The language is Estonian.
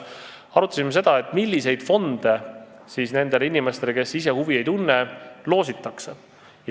Arutasime seda, milliseid fonde nendele inimestele, kes ise huvi ei tunne, loositakse.